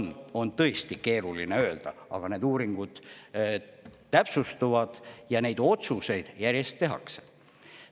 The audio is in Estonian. Seda on tõesti keeruline öelda, aga need uuringud täpsustuvad ja neid otsuseid järjest tehakse.